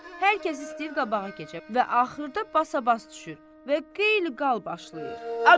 Hər kəs istəyir qabağa keçə və axırda basa-bas düşür və qeyl-qal başlayır.